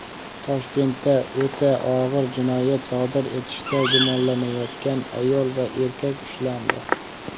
Toshkentda o‘ta og‘ir jinoyat sodir etishda gumonlanayotgan ayol va erkak ushlandi.